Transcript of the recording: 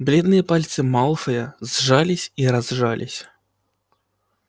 бледные пальцы малфоя сжались и разжались